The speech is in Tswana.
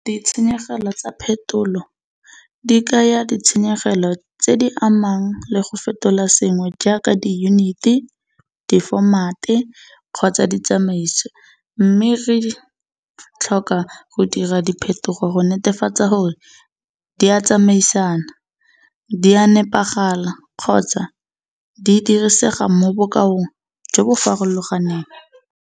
Ditshenyegelo tsa phetolo di kaya ditshenyegelo tse di amang le go fetola sengwe jaaka diyuniti, difomate kgotsa ditsamaiso mme re tlhoka go dira diphetogo go netefatsa gore di a tsamaisana di a nepagala kgotsa di dirisega mo bokaong jo bo farologaneng.